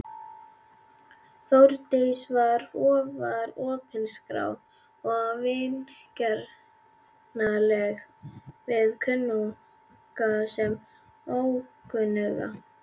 Þórdís var afar opinská og vingjarnleg við kunnuga sem ókunnuga.